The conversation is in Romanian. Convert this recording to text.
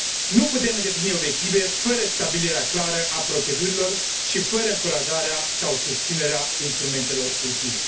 Nu putem îndeplini obiective fără stabilirea clară a procedurilor și fără încurajarea sau susținerea instrumentelor utile.